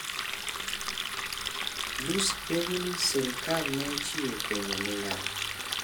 Lussi penjo ni serikal ne ochiwo penjo ni ng'a ?